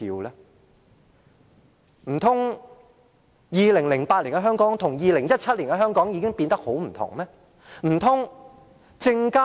難道2008年的香港與2017年的香港有很大分別？